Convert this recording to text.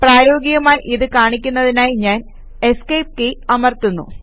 പ്രായോഗികമായി ഇത് കാണിക്കുന്നതിനായി ഞാൻ ESC കീ അമർത്തുന്നു